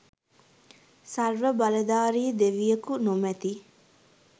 සර්ව බලධාරි දෙවියකු නොමැති